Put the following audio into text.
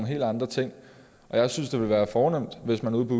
helt andre ting og jeg synes det ville være fornemt hvis man ude på